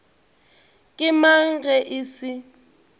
ke mang ge e se